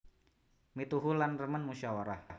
Mituhu lan remen musyawarah